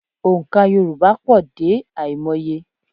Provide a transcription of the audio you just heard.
Ònkà Yorùbá pọ̀ dé àìmọye